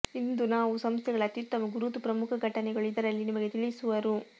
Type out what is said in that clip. ಇಂದು ನಾವು ಸಂಸ್ಥೆಗಳ ಅತ್ಯುತ್ತಮ ಗುರುತು ಪ್ರಮುಖ ಘಟನೆಗಳು ಇದರಲ್ಲಿ ನಿಮಗೆ ತಿಳಿಸುವರು